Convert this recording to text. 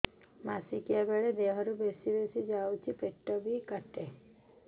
ମାସିକା ବେଳେ ଦିହରୁ ବେଶି ଯାଉଛି ପେଟ ବି କାଟେ